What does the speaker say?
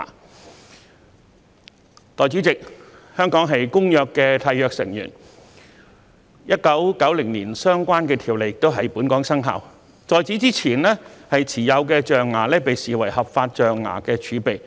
代理主席，香港是《公約》的締約成員 ，1990 年相關條例亦在本港生效，在此之前持有的象牙被視為合法象牙儲備。